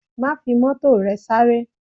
Má fi Mọ́tò rẹ sáré!